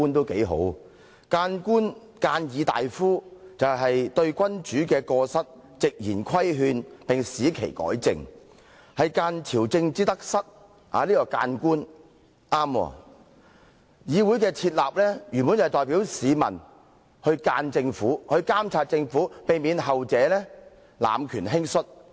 諫官或諫議大夫的職責，是對君主的過失直言規勸並使其改正，諫朝政之得失。議會原本的職能是代表市民諫政府、監察政府，以防後者濫權輕率。